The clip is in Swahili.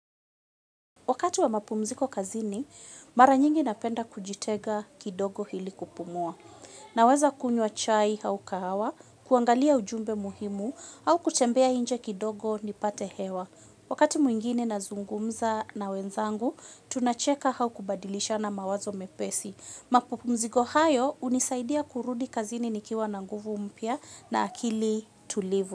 Wakati wa mapumziko kazini, mara nyingi napenda kujitenga kidogo hili kupumua. Naweza kunywa chai au kahawa, kuangalia ujumbe muhimu au kutembea nje kidogo nipate hewa. Wakati mwingine na zungumza na wenzangu, tunacheka au kubadilishana mawazo mepesi. Mapumziko hayo hunisaidia kurudi kazini nikiwa na nguvu mpya na akili tulivu.